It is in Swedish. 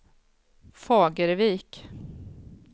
Fagervik